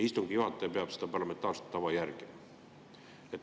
Istungi juhataja peab seda parlamentaarset tava järgima.